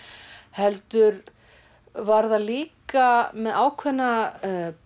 heldur var það líka með ákveðna